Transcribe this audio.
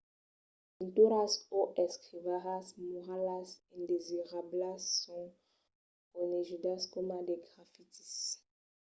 las pinturas o escrivalhas muralas indesirablas son conegudas coma de grafitis